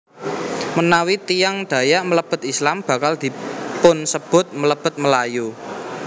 Menawi tiyang Dayak mlebet Islam bakal dipunsebut mlebet Melayu